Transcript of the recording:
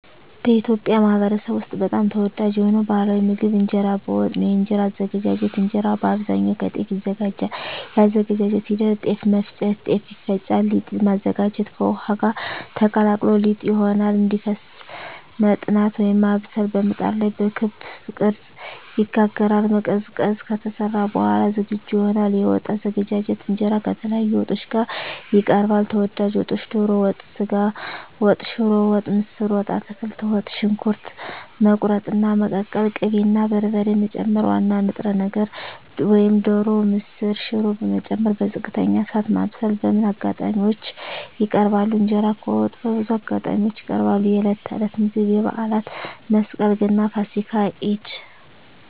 በኢትዮጵያ ማኅበረሰብ ውስጥ በጣም ተወዳጅ የሆነው ባሕላዊ ምግብ እንጀራ በወጥ ነው። የእንጀራ አዘገጃጀት እንጀራ በአብዛኛው ከጤፍ ይዘጋጃል። የአዘገጃጀት ሂደት ጤፍ መፍጨት – ጤፍ ይፈጫል ሊጥ ማዘጋጀት – ከውሃ ጋር ተቀላቅሎ ሊጥ ይሆናል እንዲፈስ መጥናት (ማብሰል) – በምጣድ ላይ በክብ ቅርጽ ይጋገራል መቀዝቀዝ – ከተሰራ በኋላ ዝግጁ ይሆናል የወጥ አዘገጃጀት እንጀራ ከተለያዩ ወጦች ጋር ይቀርባል። ተወዳጅ ወጦች ዶሮ ወጥ ስጋ ወጥ ሽሮ ወጥ ምስር ወጥ አትክልት ወጥ . ሽንኩርት መቁረጥና መቀቀል ቅቤ እና በርበሬ መጨመር ዋና ንጥረ ነገር (ዶሮ፣ ምስር፣ ሽሮ…) መጨመር በዝቅተኛ እሳት ማብሰል በምን አጋጣሚዎች ይቀርባል? እንጀራ ከወጥ በብዙ አጋጣሚዎች ይቀርባል፦ የዕለት ተዕለት ምግብ የበዓላት (መስቀል፣ ገና፣ ፋሲካ፣ ኢድ)